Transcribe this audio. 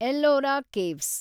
Ellora caves